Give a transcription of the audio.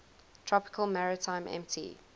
tropical maritime mt